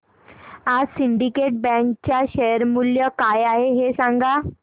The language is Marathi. आज सिंडीकेट बँक च्या शेअर चे मूल्य काय आहे हे सांगा